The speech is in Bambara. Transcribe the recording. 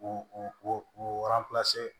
U u